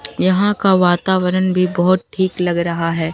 यहां का वातावरण भी बहोत ठीक लग रहा है।